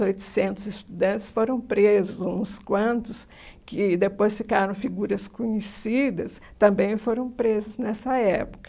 oitocentos estudantes foram presos, uns quantos que depois ficaram figuras conhecidas também foram presos nessa época.